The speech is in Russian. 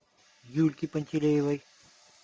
юльке пантелеевой